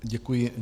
Děkuji.